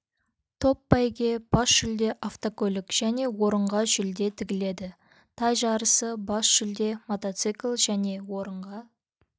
топ байге бас жүлде автокөлік және орынға жүлде тігіледі тай жарысы бас жүлде мотоцикл және орынға